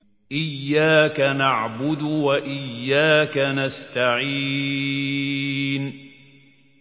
إِيَّاكَ نَعْبُدُ وَإِيَّاكَ نَسْتَعِينُ